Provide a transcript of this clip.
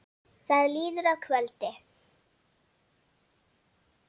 Það líður að kvöldi.